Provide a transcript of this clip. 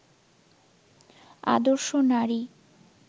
আদর্শ নারী